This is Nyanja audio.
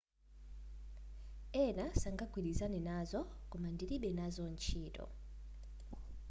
ena sangagwilizane nazo koma ndilibe nazo ntchito